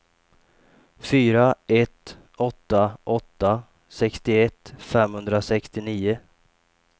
fyra ett åtta åtta sextioett femhundrasextionio